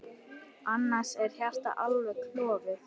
Annars er hjartað alveg klofið.